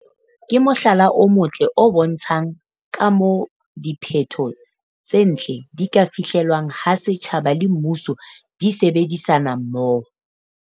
ke mohlala o motle o bontshang ka moo diphetho tse ntle di ka fihlelwang ha setjhaba le mmuso di sebedisana mmoho.